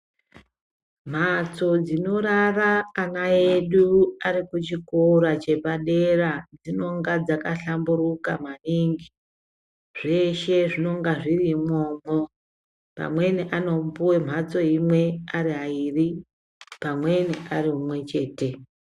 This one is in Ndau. Mhatso dzinorara ana edu ari kuchikora chepadera dzinonga dzaka hlamburuka maningi zveshe zvinonga zviri imwomwo amweni anopuwa mhatso imwe ari aviri pamweni ari mumwe chete.